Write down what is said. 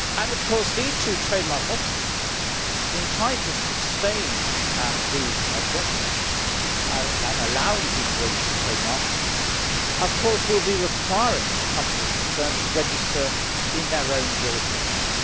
Of course, these two trademark offices, in trying to sustain these objections to allowing people to register trademarks, will be requiring the companies concerned to register in their own jurisdictions.